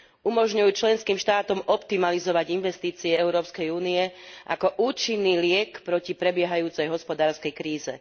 Umožňujú členským štátom optimalizovať investície Európskej únie ako účinný liek proti prebiehajúcej hospodárskej kríze.